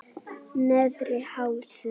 Neðri Hálsi